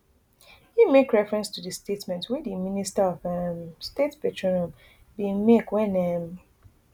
im make reference to di statement wey di minister of um state petroleum bin make wen um